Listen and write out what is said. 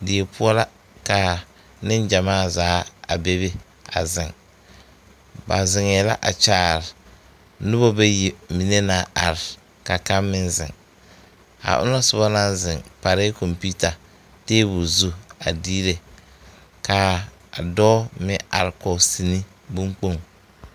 Die poɔ la ka niŋgyamaa zaa a bebe a ziŋ ba ziŋɛɛ la a kyaare noba bayi mine naŋ are ka kaŋ meŋ ziŋ a onɔŋ soba naŋ ziŋ tarɛɛ kkɔmpeuta tabol zu a diire kaa dɔɔ meŋ are kɔŋ sine niŋkpoŋ.